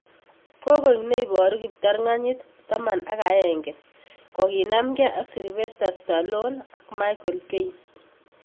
Kokoek neboru kiptanganyit Taman ak aenge kokinamge ak Sylvester Stallone ak Michael Caine.